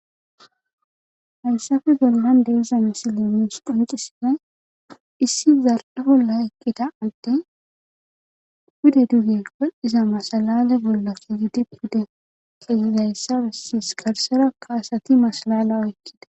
haysafe golman deizame silemis pancisise issi zarde bolla eqqita atte gude duge wol7iza masalale bolla fiidi pude keyizayssae sis garsera kaasati masalala oykkida